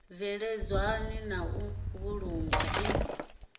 bveledzwaho na u vhulungwa i